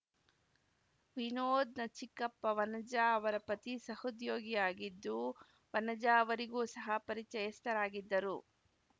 ವಿನೋದ್‌ನ ಚಿಕ್ಕಪ್ಪ ವನಜಾ ಅವರ ಪತಿ ಸಹೋದ್ಯೋಗಿಯಾಗಿದ್ದು ವನಜಾ ಅವರಿಗೂ ಸಹ ಪರಿಚಯಸ್ಥರಾಗಿದ್ದರು